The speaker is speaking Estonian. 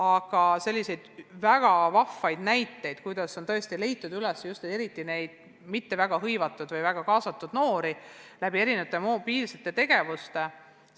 On selliseid väga vahvaid näiteid, kuidas on üles leitud neid mitte väga kaasatud noori erinevate mobiilsete tegevuste abil.